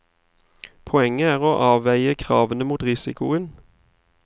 Poenget er å avveie kravene mot risikoen.